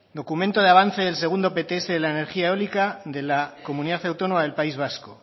documento de avance del segundo pts de la energía eólica de la comunidad autónoma del país vasco